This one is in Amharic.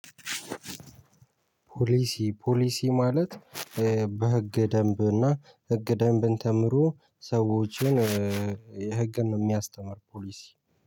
ፖሊሲ፣ ፖሊሲ ማለት በህገ ደንብ እና ህገ ደንብን ተምሮ ሰዎችን የህግን ነው የሚያስተምር ፖሊሲ።